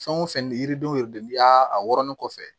Fɛn o fɛn yiridenw yɛrɛ de bi a wɔrɔnnen kɔfɛ